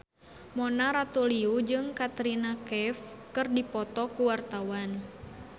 Mona Ratuliu jeung Katrina Kaif keur dipoto ku wartawan